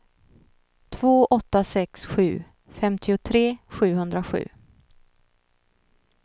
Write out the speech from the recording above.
två åtta sex sju femtiotre sjuhundrasju